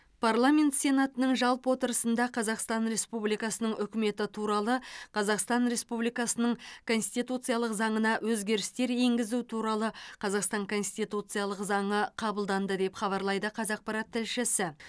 парламент сенатының жалпы отырысында қазақстан республикасының үкіметі туралы қазақстан республикасының конституциялық заңына өзгерістер енгізу туралы қазақстан конституциялық заңы қабылданды деп хабарлайды қазақпарат тілшісі